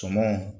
Sumanw